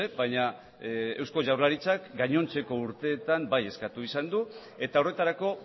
baina eusko jaurlaritzak gainontzeko urteetan bai eskatu izan du eta horretarako